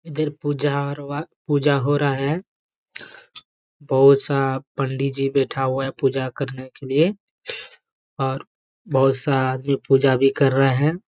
इधर पूजा और वा पूजा हो रहा है। बहुत-सा पंडी जी बैठा हुआ है पूजा करने के लिए और बहुत सारा आदमी पूजा भी कर रहा हैं।